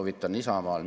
Lugupeetud juhataja!